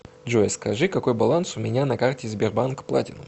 джой скажи какой баланс у меня на карте сбербанк платинум